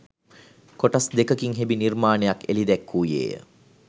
කොටස් දෙකකින් හෙබි නිර්මාණයක් එළි දැක්වූයේ ය